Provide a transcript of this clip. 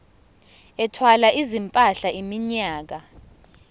ethwala izimpahla iminyaka